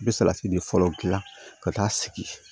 I bɛ salati de fɔlɔ dilan ka taa sigi